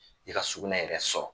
I ka sugunɛ yɛrɛ sɔrɔ